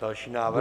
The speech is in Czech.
Další návrh.